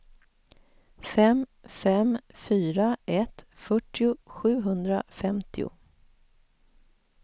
fem fem fyra ett fyrtio sjuhundrafemtio